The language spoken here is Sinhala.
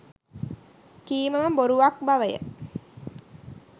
කීම ම බොරුවක් බවය.